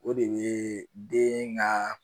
O de ye den ka